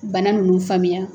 Bana nunnu faamuya.